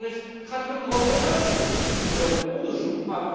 Vervolgens gaat het ook nog over de uitvoering, niet alleen over onderzoek.